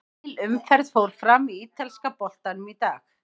Heil umferð fór fram í ítalska boltanum í dag.